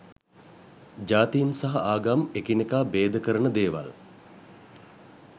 ජාතින් සහ ආගම් එකිනෙකා බේදකරන දේවල්.